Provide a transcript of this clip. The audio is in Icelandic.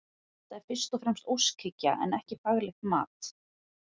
Þetta er fyrst og fremst óskhyggja en ekki faglegt mat.